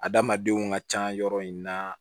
Adamadenw ka ca yɔrɔ in na